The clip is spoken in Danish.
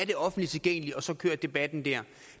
det offentligt tilgængeligt og så kører debatten der